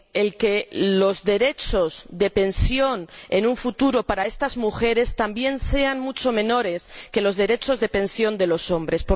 que los derechos de pensión en un futuro, para estas mujeres, también sean mucho menores que los derechos de pensión de los hombres.